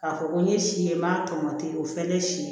K'a fɔ ko n ye si ye n m'a tɔmɔ te o fɛn ne si ye